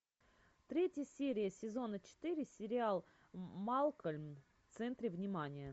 третья серия сезона четыре сериал малкольм в центре внимания